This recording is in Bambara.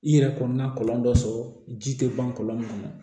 I yɛrɛ kɔnɔna kɔlɔn dɔ sɔrɔ ji tɛ ban kɔlɔn kɔnɔ